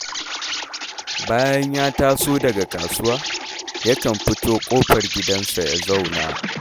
Bayan ya taso daga kasuwa, yakan fito ƙofar gidansa ya zauna